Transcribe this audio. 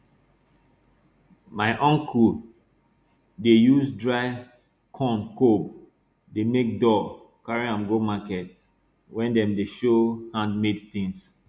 my uncle dey use dry corn cob dey make doll carry am go market wey dem dey show handmade tings